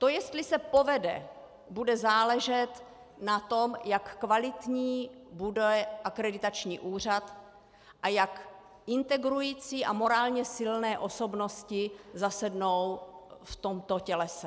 To jestli se povede, bude záležet na tom, jak kvalitní bude akreditační úřad a jak integrující a morálně silné osobnosti zasednou v tomto tělese.